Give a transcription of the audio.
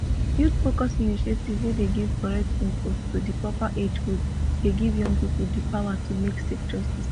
youthfocused initiatives wey dey give correct info to di proper age group dey give young people di power to make safe choices